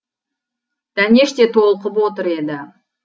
дәнеш те толқып отыр еді